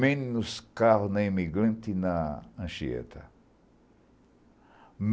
Menos carro na Imigrante e na Anchieta.